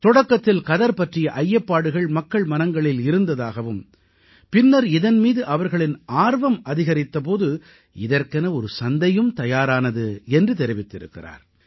தொடக்கத்தில் கதர் பற்றிய ஐயப்பாடுகள் மக்கள் மனங்களில் இருந்ததாகவும் பின்னர் இதன் மீது அவர்களின் ஆர்வம் அதிகரித்த போது இதற்கென ஒரு சந்தையும் தயாரானது என்று தெரிவித்திருக்கிறார்